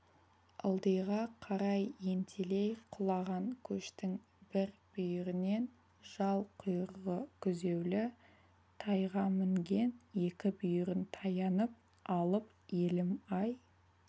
ылдиға қарай ентелей құлаған көштің бір бүйірінен жал-құйрығы күзеулі тайға мінген екі бүйірін таянып алып елім-ай